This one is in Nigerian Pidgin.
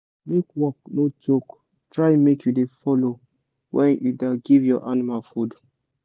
make work no choke try make u dey follow when you da give your animal food